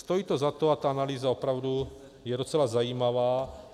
Stojí to za to a ta analýza opravdu je docela zajímavá.